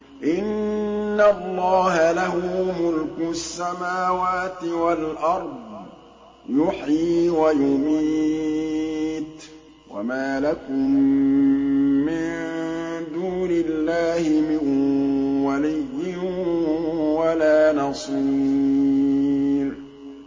إِنَّ اللَّهَ لَهُ مُلْكُ السَّمَاوَاتِ وَالْأَرْضِ ۖ يُحْيِي وَيُمِيتُ ۚ وَمَا لَكُم مِّن دُونِ اللَّهِ مِن وَلِيٍّ وَلَا نَصِيرٍ